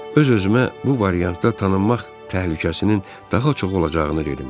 Öz-özümə bu variantda tanınmaq təhlükəsinin daha çox olacağını dedim.